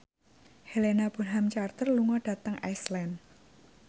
Helena Bonham Carter lunga dhateng Iceland